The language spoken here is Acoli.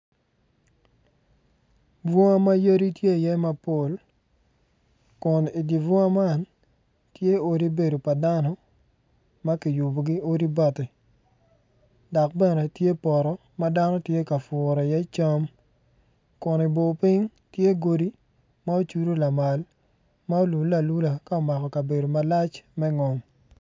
Bunga ma yadi tye iye ma pol kun idi bunga man, tye odi bedo pa dano ma kiyubogi odi bati dok bene tye poto ma dano tye ka puro iye cam kun i bor piny tye godi ma ocudu lamal ma olule alula ka omako kabedo malac me ngom.